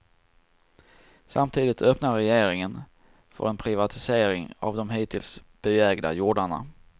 Samtidigt öppnar regeringen för en privatisering av de hittills byägda jordarna.